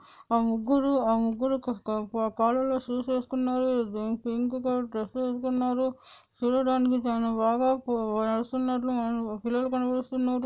ఆ ముగ్గురు ఆ ముగ్గురు కాలాల్లో షూస్ వేస్కునారు పింక్ కలర్ డ్రెస్ వేస్కునారు చూడానికి చాలా బాగా నడుస్తునట్లు పిల్లలు కనిపిస్తునారు.